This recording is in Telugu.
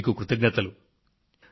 మీకు ఇవే నా ధన్యవాదాలు